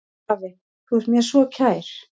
Afi, þú ert mér svo kær.